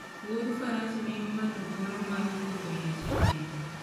Wuodh faras miyo ng'ato thuolo mar wuotho mos e thim.